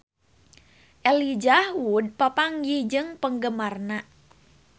Elijah Wood papanggih jeung penggemarna